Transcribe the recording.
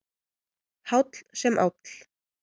Háll sem áll.